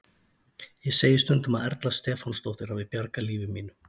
Ég segi stundum að Erla Stefánsdóttir hafi bjargað lífi mínu.